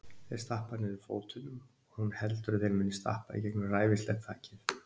Þeir stappa niður fótunum og hún heldur að þeir muni stappa í gegnum ræfilslegt þakið.